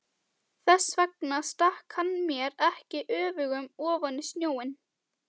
Þess vegna stakk hann mér ekki öfugum ofan í snjóinn.